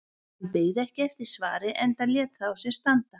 Hann beið ekki eftir svari enda lét það á sér standa.